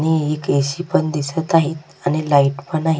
आणि एक A. C. पण दिसत आहेत आणि लाइट पण आहे.